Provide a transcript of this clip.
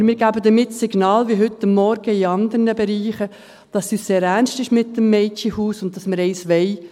Aber wir geben damit das Signal – wie heute Morgen in anderen Bereichen –, dass es uns sehr ernst ist mit dem Mädchenhaus und dass wir eines wollen.